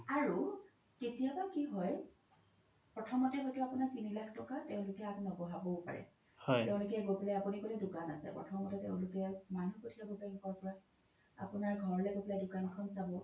আৰু কেতিয়া কি হয় প্ৰথমতে হয়তো তিনি লাখ তকা তেওলোকে আগনবঢ়াবও পাৰে তেওলোকে গৈ পেলে আপোনি ক্'লে দুকান আছে প্ৰথমতে তেওলোকে মানুহ পোথিয়াব bank পৰা আপোনা ঘৰলৈ গৈ পিনে দুকান খন চাব